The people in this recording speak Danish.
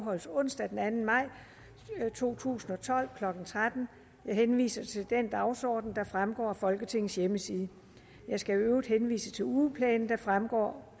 afholdes onsdag den anden maj to tusind og tolv klokken tretten jeg henviser til den dagsorden der fremgår af folketingets hjemmeside jeg skal i øvrigt henvise til ugeplanen der fremgår